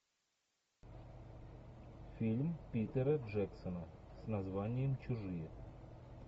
фильм питера джексона с названием чужие